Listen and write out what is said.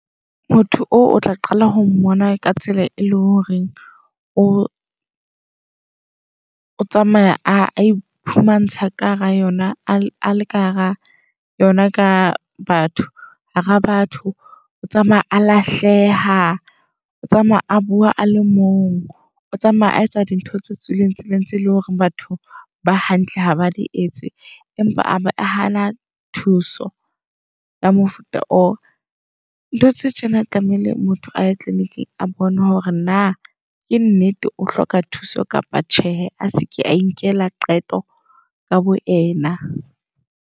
Motho oo o tla qala ho mmona ka tsela e leng hore o o tsamaya a iphumantsha ka hara yona le ka hara yona ka batho hara batho. O tsamaya a lahleha, o tsamaya a bua ale mong, o tsamaya a etsa dintho tse tswileng tseleng, tseo e leng hore batho ba hantle ha ba di etse. Empa abe a hana thuso ya mofuta oo. Ntho tse tjena tlamehile motho aye clinic-ing a bone hore na ke nnete o hloka thuso kapa tjhehe.A se ke a inkela qeto ka bo yena.